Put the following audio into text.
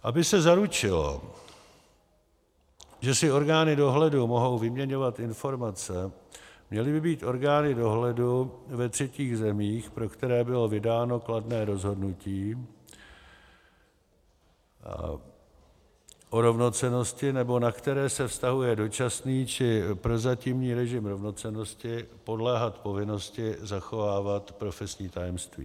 Aby se zaručilo, že si orgány dohledu mohou vyměňovat informace, měly by být orgány dohledu ve třetích zemích, pro které bylo vydáno kladné rozhodnutí o rovnocennosti nebo na které se vztahuje dočasný či prozatímní režim rovnocennosti, podléhat povinnosti zachovávat profesní tajemství.